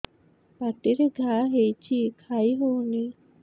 ପାଟିରେ ଘା ହେଇଛି ଖାଇ ହଉନି